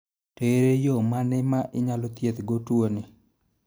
To ere yo mane ma inyalo thieth go tuo ni.